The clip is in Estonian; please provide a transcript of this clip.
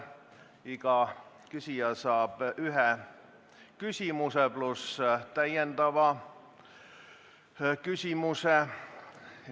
Iga küsija saab esitada ühe küsimuse, pluss täpsustava küsimuse.